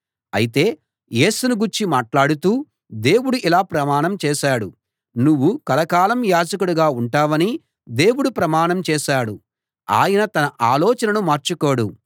అయితే యేసును గూర్చి మాట్లాడుతూ దేవుడు ఇలా ప్రమాణం చేశాడు నువ్వు కలకాలం యాజకుడిగా ఉంటావని దేవుడు ప్రమాణం చేశాడు ఆయన తన ఆలోచనను మార్చుకోడు